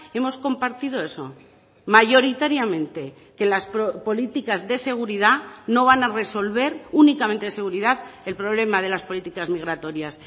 hemos compartido eso mayoritariamente que las políticas de seguridad no van a resolver únicamente de seguridad el problema de las políticas migratorias